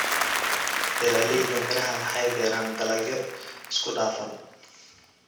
Beeralayda miraha waxay beeraan dalagyo isku dhafan.